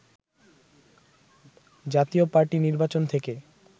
জাতীয় পার্টি নির্বাচন থেকে